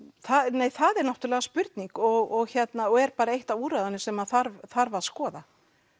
nei það er náttúrulega spurning og er bara eitt af úrræðunum sem þarf þarf að skoða